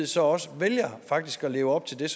så også at leve op til det